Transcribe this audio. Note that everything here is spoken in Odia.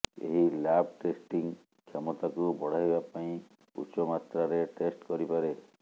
ଏହି ଲ୍ୟାବ୍ ଟେଷ୍ଟିଂ କ୍ଷମତାକୁ ବଢ଼ାଇବା ପାଇଁ ଉଚ୍ଚମାତ୍ରାରେ ଟେଷ୍ଟ କରିପାରେ